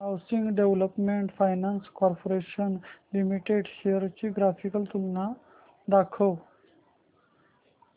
housing development finance corporation limited shares ची graphical तुलना दाखव